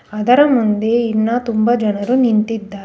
ಅದರ ಮುಂದೆ ಇನ್ನ ತುಂಬ ಜನರು ನಿಂತಿದ್ದಾ--